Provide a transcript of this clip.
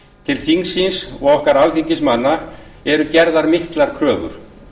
til þingsins og okkar alþingismanna eru gerðar miklar kröfur